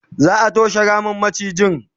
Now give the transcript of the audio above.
za'a toshe Ramin macijin